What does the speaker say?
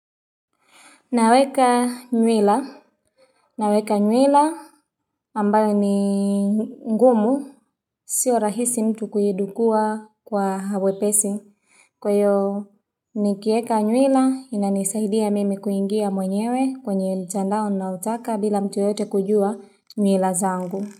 Naweka nyuila ambayo ni ngumu. Sio rahisi mtu kuidukua kwa uwepesi. Kwa hio nikieka nywila inanisaidia mimi kuingia mwenyewe kwenye mtandao ninautaka bila mtu yoyote kujua nywila zangu.